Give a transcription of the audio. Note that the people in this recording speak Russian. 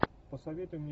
посоветуй мне